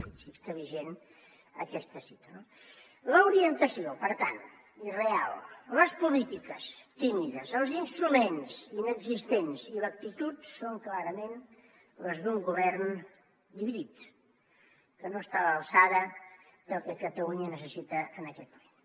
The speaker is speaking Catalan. fixi’s que vigent aquesta cita no la orientació per tant irreal les polítiques tímides els instruments inexistents i l’actitud són clarament les d’un govern dividit que no està a l’alçada del que catalunya necessita en aquest moment